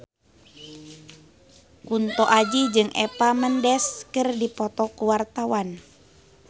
Kunto Aji jeung Eva Mendes keur dipoto ku wartawan